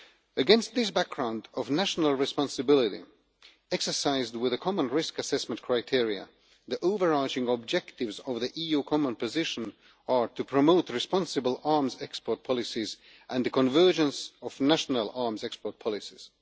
Against this background of national responsibility exercised with common risk assessment criteria, the overarching objectives of the EU common position are to promote responsible arms export policies and the convergence of national arms export policies.